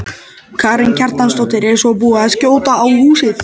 Karen Kjartansdóttir: Svo er búið að skjóta á húsið?